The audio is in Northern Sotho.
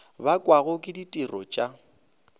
bakwago ke ditiro t a